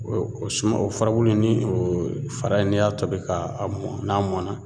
O o suma o furabulu ni o fara in n'i y'a tobi k'a mɔn n'a mɔnna